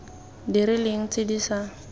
di rileng tse di sa